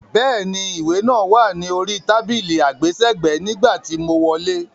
Bẹ́ẹ̀ni, ìwé náà wá ni orí tábìlì àgbésẹ̀gbẹ́ nígbà tí mo wọlé.